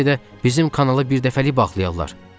Bəlkə də bizim kanalı birdəfəlik bağlayarlar.